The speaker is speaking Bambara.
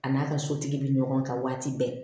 A n'a ka sotigi bɛ ɲɔgɔn kan waati bɛɛ